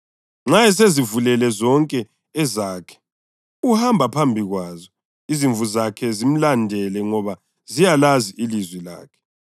Nxa esezivulele zonke ezakhe, uhamba phambi kwazo, izimvu zakhe zimlandele ngoba ziyalazi ilizwi lakhe.